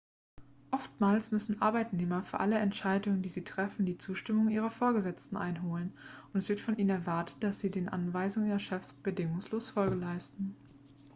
oftmals müssen arbeitnehmer für alle entscheidungen die sie treffen die zustimmung ihrer vorgesetzten einholen und es wird von ihnen erwartet dass sie den anweisungen ihrer chefs bedingungslos folge leisten